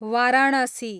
Varanasi